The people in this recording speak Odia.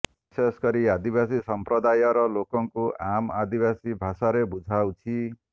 ବିଶେଷକରି ଆଦିବାସୀ ସଂପ୍ରଦାୟର ଲୋକଙ୍କୁ ଆମ ଆଦିବାସୀ ଭାଷାରେ ବୁଝାଉଛି